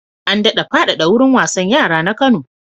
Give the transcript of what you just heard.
An daɗa faɗaɗa wurin wasan yara na Kano.